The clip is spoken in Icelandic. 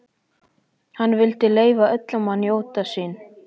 Hann vildi leyfa öllum að njóta sín.